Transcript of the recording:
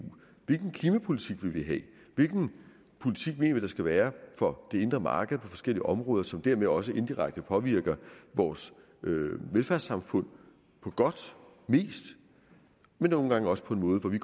hvilken klimapolitik vil vi have hvilken politik mener vi der skal være for det indre marked på forskellige områder som dermed også indirekte påvirker vores velfærdssamfund på godt mest men nogle gange også på en måde hvor vi